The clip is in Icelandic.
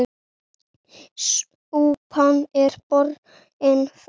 Súpan er borin fram.